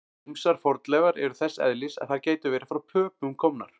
Ýmsar fornleifar eru þess eðlis að þær gætu verið frá Pöpum komnar.